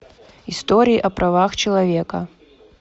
история о правах человека